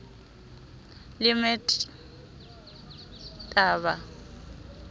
le mr t a ba